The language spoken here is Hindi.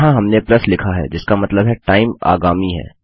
यहाँ हमने प्लस लिखा है जिसका मतलब है टाइम आगामी है